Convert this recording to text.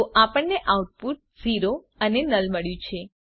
તો આપણને આઉટપુટ 0 અને નુલ મળ્યું છે